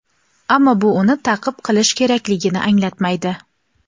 ammo bu uni ta’qib qilish kerakligini anglatmaydi.